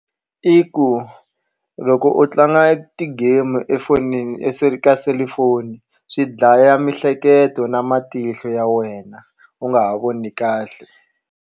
I ku loko u tlanga ti-game efonini ya se ka selufoni swi dlaya mihleketo na matihlo ya wena u nga ha voni kahle.